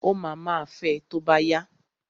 Ó ma ma fẹ tó bá yá.